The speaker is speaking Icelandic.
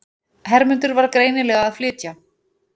Hermundur var greinilega að flytja.